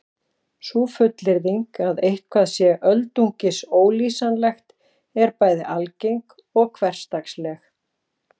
Sú fullyrðing að eitthvað sé öldungis ólýsanlegt er bæði algeng og hversdagsleg.